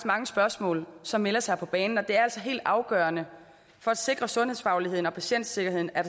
mange spørgsmål som melder sig på banen og det er altså helt afgørende for at sikre sundhedsfagligheden og patientsikkerheden at